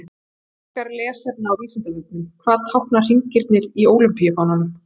Frekara lesefni á Vísindavefnum: Hvað tákna hringirnir í ólympíufánanum?